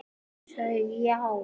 Þín systir, Linda Ósk.